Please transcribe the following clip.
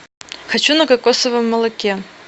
хочу на кокосовом молоке